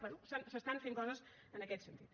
bé s’estan fent coses en aquest sentit